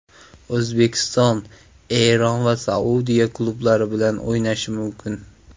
O‘zbekiston Eron va Saudiya klublari bilan o‘ynashi mumkin.